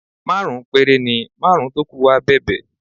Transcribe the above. Márùn-ún péré ni, márùn-ún tó kù wá bẹ̀bẹ̀